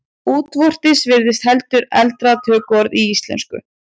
Útvortis virðist heldur eldra tökuorð í íslensku.